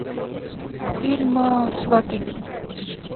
фильм сваты